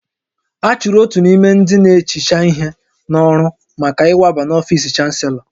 A chụrụ otu n'ime ndị na-ehicha ihe n'ọrụ maka ịwaba n'ọfisi Chanselọ